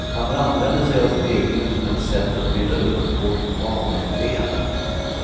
Han använder sig av speglingen som ett sätt att bryta upp vårt vaneseende.